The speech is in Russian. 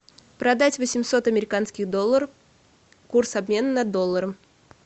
продать восемьсот американских долларов курс обмена на доллары